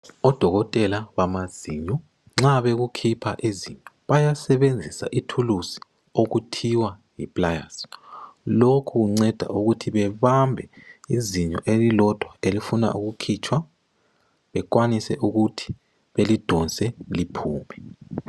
Odokotela bamazinyo nxa bekukhipha izinyo bayasebenzisa ithuluzi okuthi yi pliers. Lokhu kunceda ukuthi bebambe izinyo elilodwa elifuna ukukhitshwa. Bekwanise ukuthi belidonse liphume.